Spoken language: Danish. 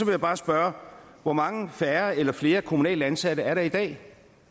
jeg bare spørge hvor mange færre eller flere kommunalt ansatte er der i dag